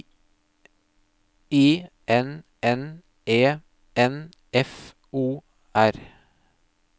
I N N E N F O R